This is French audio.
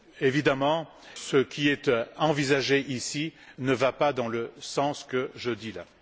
Évidemment, ce qui est envisagé ici ne va pas dans le sens de ce que je dis là.